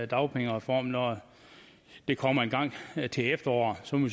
dagpengereform når det kommer engang til efteråret så må